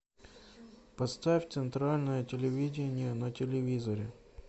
поставь центральное телевидение на телевизоре